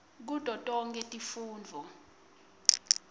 kuto tonkhe tifundvo